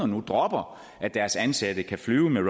nu dropper at deres ansatte kan flyve med